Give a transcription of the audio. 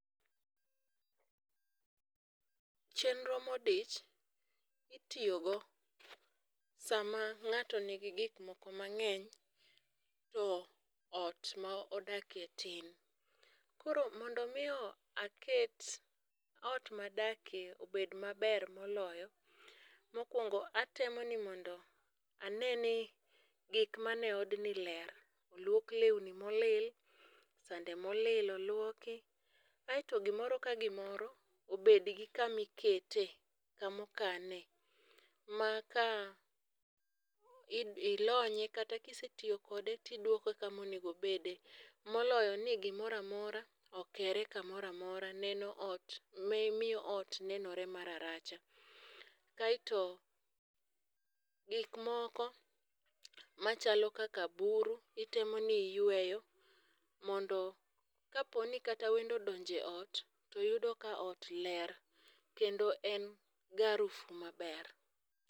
chenro modich itiyogo sama ng'ato nigi gik moko mang'eny to ot modake tin. Koro mondo mi aket ot madake obed maber moloyo , mokwongo atemo ni ane ni gik man e odni ler: oluok lewni molil, sande molil olouoki, aeto gimoro ka gimoro obed gi kama ikete ,kamo kane maka ilonye kata kisetiyo kode tidwoke kama onego obede moloyo ni gimoro amora okere kamoro amora neno miyo ot nenore ma raracha. Kaeto gik moko machalo kaka buru itemo ni iyweyo mondo kapo ni kata wendo odonjo e ot to yudo ka ot ler kendo en gi harufu maber.